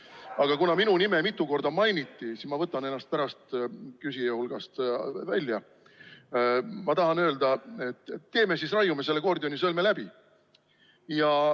Aga kuna minu nime mitu korda mainiti, siis ma võtan ennast pärast küsijate hulgast välja ja tahan öelda, et raiume selle Gordioni sõlme läbi.